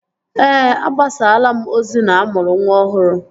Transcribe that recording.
Ee, agbasalaa m ozi na-amụrụ nwa ọhụrụ